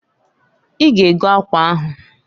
I ga ego akwa ahuǃ